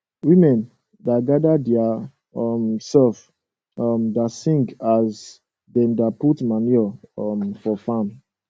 women da gada dia um sef um da sing as dem da put manure um for farm